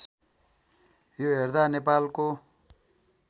यो हेर्दा नेपालको